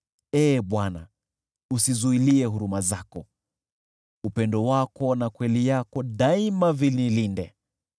Ee Bwana , usizuilie huruma zako, upendo wako na kweli yako daima vinilinde.